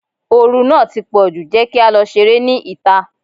Oru náà ti pọ̀jù, jẹ́ kí á lọ ṣeré ní ìta.